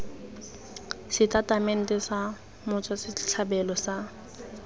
setatamente sa motswa setlhabelo sa